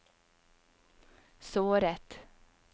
såret